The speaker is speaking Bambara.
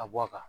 A bɔ a kan